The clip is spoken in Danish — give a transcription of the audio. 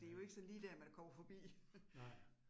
Ja. Nej